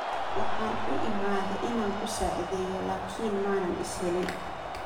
Waxan uuimadhe ina kusacidheyo lakin manan ishelin.